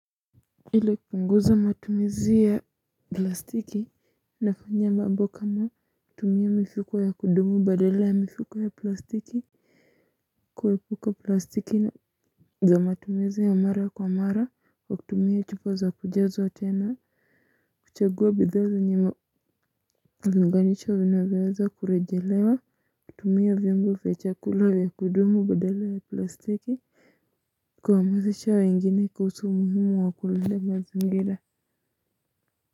Ile kupunguza matumizi ya plastiki nafanya mabbo kama kutumia mifuko ya kudumu badala ya mifuko ya plastiki kuepuka plastiki, juu ya matumizi ya mara kwa mara, hutumia chupa ya kujazwa tena. Kuchagua bidhaa alinganisha vinaweweza kurejelewa kutumia vimbo vechakula ya kudumu badala ya plastiki kwa mazisha waingine kawusu muhimu wa kulele mazingira. Kwa hivyo.